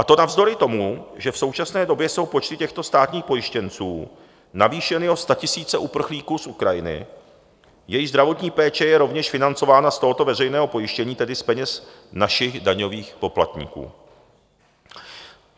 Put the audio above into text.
A to navzdory tomu, že v současné době jsou počty těchto státních pojištěnců navýšeny o statisíce uprchlíků z Ukrajiny, jejichž zdravotní péče je rovněž financována z tohoto veřejného pojištění, tedy z peněz našich daňových poplatníků.